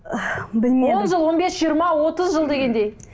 білмедім он жыл он бес жиырма отыз жыл дегендей